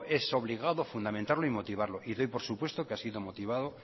es obligado fundamentarlo y motivarlo y doy por supuesto que ha sido motivado